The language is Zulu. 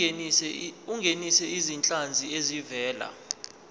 ungenise izinhlanzi ezivela